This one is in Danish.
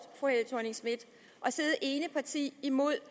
at sidde ene parti imod